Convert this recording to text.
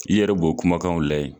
I yɛrɛ b'o kumakanw layɛ